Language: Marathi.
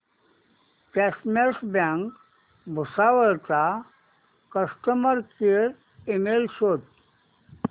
कॉसमॉस बँक भुसावळ चा कस्टमर केअर ईमेल शोध